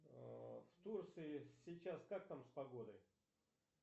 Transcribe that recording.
в турции сейчас как там с погодой